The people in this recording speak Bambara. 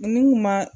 Ni kun ma